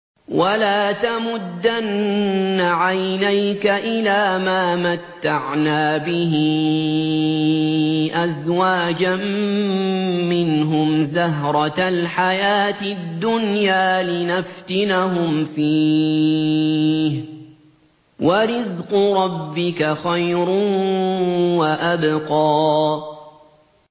وَلَا تَمُدَّنَّ عَيْنَيْكَ إِلَىٰ مَا مَتَّعْنَا بِهِ أَزْوَاجًا مِّنْهُمْ زَهْرَةَ الْحَيَاةِ الدُّنْيَا لِنَفْتِنَهُمْ فِيهِ ۚ وَرِزْقُ رَبِّكَ خَيْرٌ وَأَبْقَىٰ